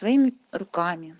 своими рука